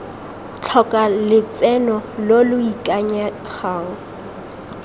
tlhoka lotseno lo lo ikanyegang